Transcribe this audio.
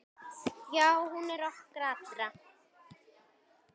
Já, hún er okkar allra.